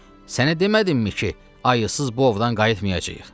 Sənə demədimmi ki, ayısız ovdan qayıtmayacağıq?